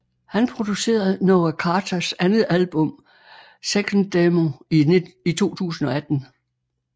Han producerede Noah Carters andet album 2nd Demo i 2018